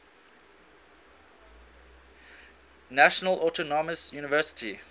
national autonomous university